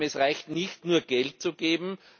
Es reicht nicht, nur Geld zu geben.